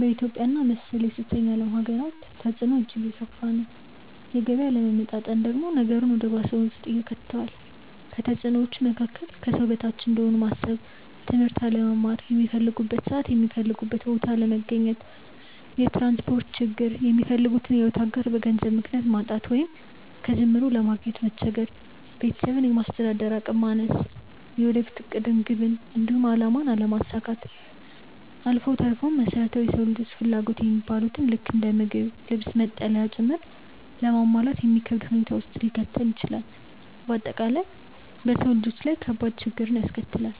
በኢትዮጵያ እና መሰል የሶስተኛ ዓለም ሃገራት ተፅዕኖው እጅግ የከፋ ነው። የገቢ አለመመጣጠን ደግሞ ነገሩን ወደ ባሰ ሁኔታ ውስጥ ይከተዋል። ከተፅዕኖዎቹ መካከል፦ ከሰው በታች እንደሆኑ ማሰብ፣ ትምህርት አለመማር፣ ሚፈልጉበት ሰዓት የሚፈልጉበት ቦታ አለመገኘት፣ የትራንስፖርት ችግር፣ የሚፈልጉትን የሕይወት አጋር በገንዘብ ምክንያት ማጣት ወይንም ከጅምሩ ለማግኘት መቸገር፣ ቤተሰብን ለማስተዳደር አቅም ማነስ፣ የወደፊት ዕቅድን፣ ግብን፣ እንዲሁም አላማን አለማሳካት አልፎ ተርፎም መሰረታዊ የሰው ልጆች ፍላጎት የሚባሉትን ልክ እንደ ምግብ፣ ልብስ፣ መጠለያ ጭምር ለማሟላት የሚከብድ ሁኔታ ውስጥ ሊከተን ይችላል። በአጠቃላይ በሰው ልጆች ላይ ከባድ ችግርን ያስከትላል።